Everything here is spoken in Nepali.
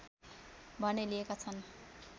भने लिएका छन्